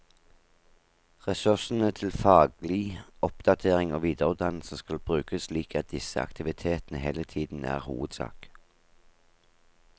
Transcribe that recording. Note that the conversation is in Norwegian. Ressursene til faglig oppdatering og videreutdannelse skal brukes slik at disse aktivitetene hele tiden er hovedsak.